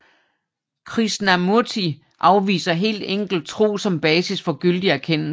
Krishnamurti afviser helt enkelt tro som basis for gyldig erkendelse